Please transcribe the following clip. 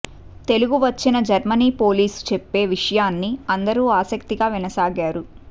తెలుగు వచ్చిన Germany police చెప్పే విషయాన్ని అందరూ ఆసక్తిగా వినసాగారు